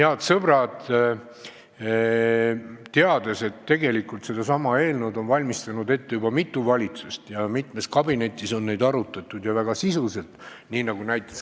Head sõbrad, ma tean, et selleteemalist eelnõu on ette valmistanud juba mitu valitsust ja mitmes kabinetis on neid variante arutatud, seejuures väga sisuliselt.